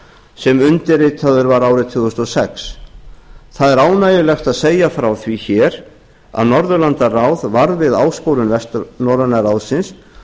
sem undirritaður var árið tvö þúsund og sex það er ánægjulegt að segja frá því hér að norðurlandaráð varð við áskorun vestnorræna ráðsins